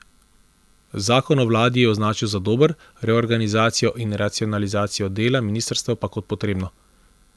Zakon o vladi je označil za dober, reorganizacijo in racionalizacijo dela ministrstev pa kot potrebno.